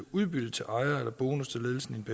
udbytte til ejer eller bonus til ledelsen